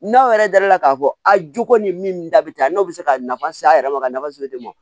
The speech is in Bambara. N'aw yɛrɛ dara k'a fɔ a jogo ni min da bi ta n'o bɛ se ka nafa se a yɛrɛ ma ka nafa